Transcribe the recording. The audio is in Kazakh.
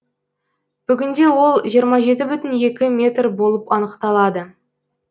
бүгінде ол жиырма жеті бүтін екі метр болып анықталады